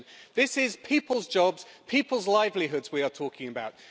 This is people's jobs and people's livelihoods we are talking about.